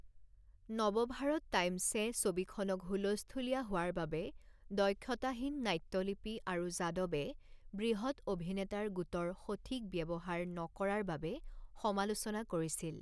Navbharat Times এ ছবিখনক হুলস্থূলীয়া হোৱাৰ বাবে, দক্ষতাহীন নাট্যলিপি আৰু যাদৱে বৃহৎ অভিনেতাৰ গোটৰ সঠিক ব্যৱহাৰ নকৰাৰ বাবে সমালোচনা কৰিছিল।